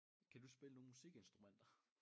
Kan du spille nogle musikinstrumenter?